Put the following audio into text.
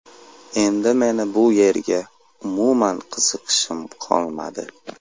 Endi meni bu yerga umuman qiziqishim qolmadi.